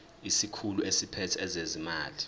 isikhulu esiphethe ezezimali